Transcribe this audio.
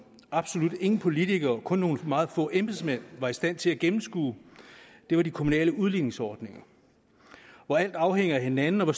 absolut ingen politikere kun nogle meget få embedsmænd var i stand til at gennemskue var de kommunale udligningsordninger hvor alt afhænger af hinanden og